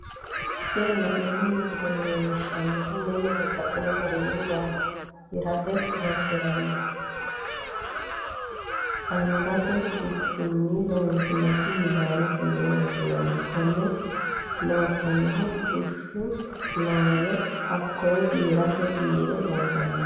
Tini la'neemo misile leellishanohu mannu babaxxino garinni gafiratte horonsiranotta angate bushunni loonsonire midaanotte yinne woshinanni, kone loosanohu busha loowe, hakoye giirate giire loosano